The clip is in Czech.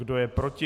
Kdo je proti?